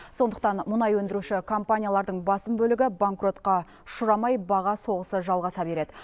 сондықтан мұнай өндіруші компаниялардың басым бөлігі банкротқа ұшырамай баға соғысы жалғаса береді